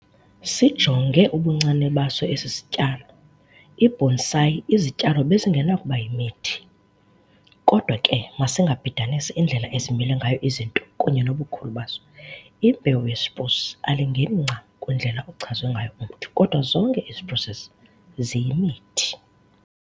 Sijonge ubuncane baso esi sityalo, ibonsai izityalo bezingenakuba 'yimithi', kodwa ke masingabhidanisi indlela ezimile ngayo izinto kunye nobukhulu bazo. Imbewu ye-"spruce" alingeni ncam kwindlela ochazwa ngayo umthi, kodwa zonke ii-"spruces" ziyimithi.